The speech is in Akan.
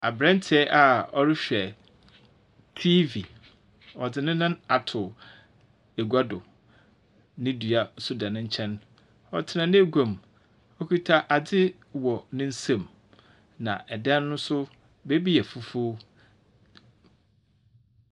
Abranteɛ a ɔrehwɛ tiifi. Ɔdze nenan ato egwa do, ne dua nso da n'enkyɛn ɔtsena n'egwa mu. okita adze wɔ n'ensam, na ɛdan no nso baabi yɛ fufuw.